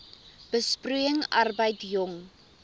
besproeiing arbeid jong